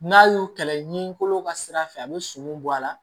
N'a y'o kɛlɛ ɲin kolo ka sira fɛ a bɛ sogo bɔ a la